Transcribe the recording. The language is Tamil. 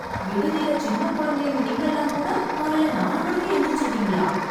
விடுதில சின்னக் குழந்தைங்க நீங்கல்லாம்கூட காலையில நாலு மணிக்கே எந்திரிச்சுருவீங்களா...